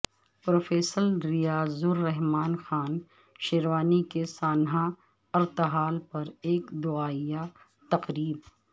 professor Riaz ur Rahman Khan Sherwani کے سانحہ ارتحال پر ایک دعائیہ تقریب